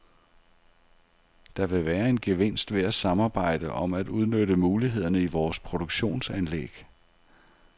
Der vil være en gevinst ved at samarbejde om at udnytte mulighederne i vores produktionsanlæg.